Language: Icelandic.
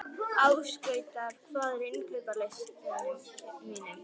Ásgautur, hvað er á innkaupalistanum mínum?